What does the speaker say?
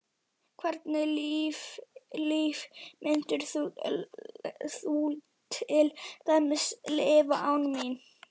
Hvernig lífi myndir þú til dæmis lifa án mín?